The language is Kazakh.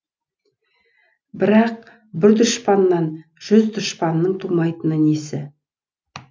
бірақ бір данышпаннан жүз данышпанның тумайтыны несі